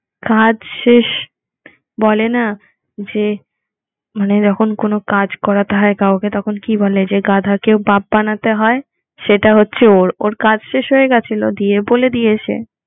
কাজ শেষ বলে না যে মানে এরোকম কোনো কাজ করাতে হয় কাউকে তখন কি বলে যে গাধা কেউ বাপ বানাতে হয় সেটা হচ্ছে ওর ওর কাজ শেষ হয়ে গিয়েছিলো দিয়ে বলে দিয়েছে